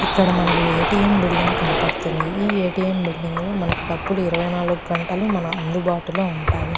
ఇక్కడ మనకి A. T. M. Building కనపడతుంది ఈ ఏ. టి. ఎం. బిల్డింగ్ లో మనకి డబ్బులు ఇరవై నాలుగు గంటలు మనకి అందుబాటులో ఉంటాయి.